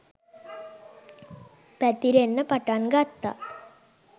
පැතිරෙන්න පටන් ගත්තා